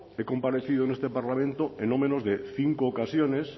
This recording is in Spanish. he comparecido en este parlamento en no menos de cinco ocasiones